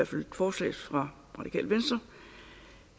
til forslaget fra radikale venstre